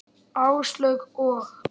Áslaug og